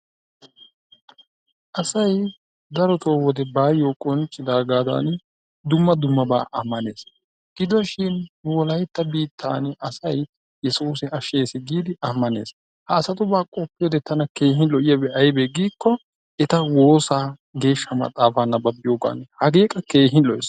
Asay darotoo wode bayyo qonccidaagadan dumma dumma ammanees gidoshin nu wolaytta biittaan asay Yessuus ashshees giidi ammannees. Ha asatubaa qofiyoode tana keehin lo''iyaabi giiko eta woossa, geeshsha maxaafa nababbiyooga. Hagee qa keehin lo''ees.